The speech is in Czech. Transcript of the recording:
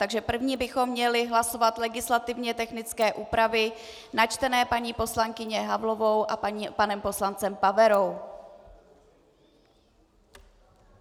Takže první bychom měli hlasovat legislativně technické úpravy načtené paní poslankyní Havlovou a panem poslancem Paverou.